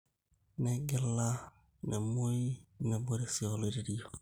Negila, nemuoi, nebore sii oloirr`reio.